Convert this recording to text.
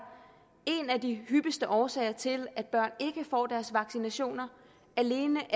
en af de hyppigste årsager til at børn ikke får deres vaccinationer alene